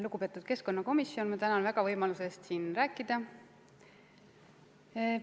Lugupeetud keskkonnakomisjon, ma tänan väga võimaluse eest siin rääkida!